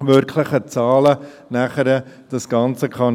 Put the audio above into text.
wirklichen Zahlen – auch einordnen kann.